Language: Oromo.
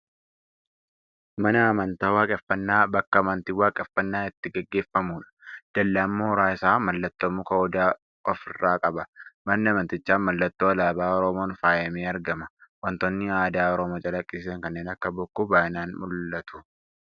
Mana amantaa Waaqeffannaa, bakka amantiin Waaqeeffannaa itti gaggeeffamudha. Dallaan mooraa isaa mallattoo muka odaa of irraa qaba. Manni amantichaa mallattoo alaabaa Oromoon faayamee argama. Wantoonni aadaa Oromoo calaqqisiisan kanneen akka bokkuu baay'inaan mul'atu.